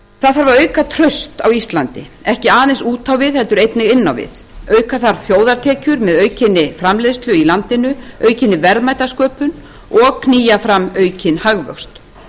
það þarf að auka traust á íslandi ekki aðeins út á við heldur einnig inn á við auka þarf þjóðartekjur með aukinni framleiðslu í landinu aukinni verðmætasköpun og knýja fram aukinn hagvöxt